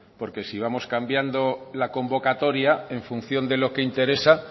porque si vamos cambiando la convocatoria en función de lo que interesa